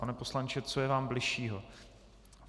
Pane poslanče, co je vám bližšího?